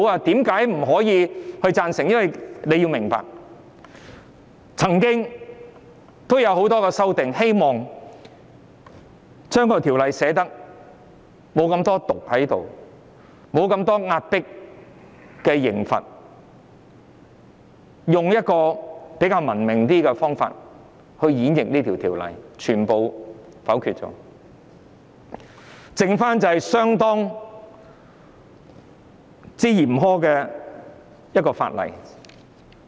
大家要明白，很多修正案是希望減輕《條例草案》內的"毒"，減低壓迫的刑罰，以比較文明的方法演繹這項《條例草案》，但全遭否決，只剩下相當嚴苛的法例。